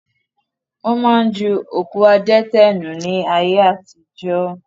Wọn máa ń ju òkú adẹ́tẹ̀ nù ni ayé àtijọ́